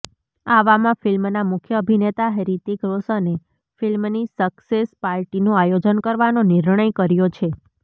આવામાં ફિલ્મનાં મુખ્ય અભિનેતા હિૃતિક રોશને ફિલ્મની સક્સેસ પાર્ટીનું આયોજન કરવાનો નિર્ણય કર્યો છે